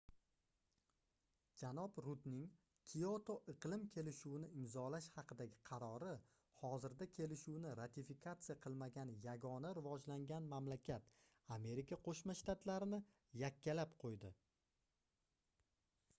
janob rudning kioto iqlim kelishuvini imzolash haqidagi qarori hozirda kelishuvni ratifikatsiya qilmagan yagona rivojlangan mamlakat amerika qoʻshma shtatlarini yakkalab qoʻydi